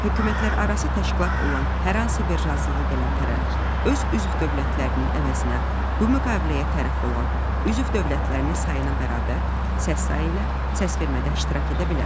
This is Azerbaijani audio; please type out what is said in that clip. Hökumətlərarası təşkilat olan hər hansı bir razılığa gələn tərəf öz üzv dövlətlərinin əvəzinə bu müqaviləyə tərəf olan üzv dövlətlərinin sayına bərabər səs sayı ilə səsvermədə iştirak edə bilər.